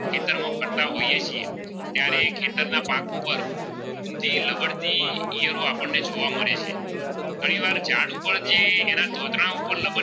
ઈયળો આપણે જોવા મળે છે ફરી વાર એ ઝાડ ઉપર એના ઉપર